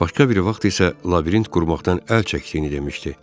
Başqa biri vaxt isə labirint qurmaqdan əl çəkdiyini demişdi.